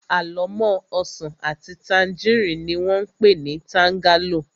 Àlọ́mọ́ ọsàn àti tangerine ni wón pé ni tangerlo